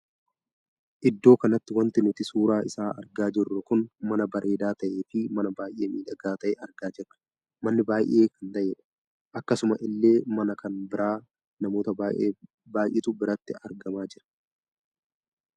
Iddoo kanatti wanti nuti suuraa isaa argaa jirru kun mana bareedaa tahee fi mana baay'ee miidhagaa tahee argaa jirra. manni baay'ee kan tahedha. akkasuma illee mana kan bira namoota baay'eetu biratti argamaa jira.